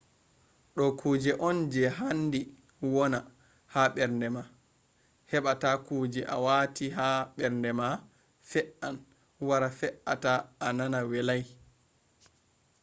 ɗo kuje on je handi wona ha mbernde ma heɓa ta kuje a wati ha mbernde ma fe’an wara fe’ata a nana welai